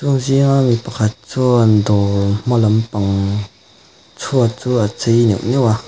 an zinga mi pakhat chuan dawr hma lampang chhuat chu a chei neuh neuh a.